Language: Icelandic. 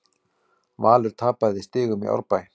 Valur tapaði stigum í Árbæ